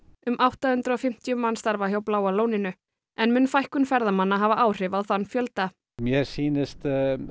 um átta hundruð og fimmtíu manns starfa hjá Bláa lóninu en mun fækkun ferðamanna hafa áhrif á þann fjölda mér sýnist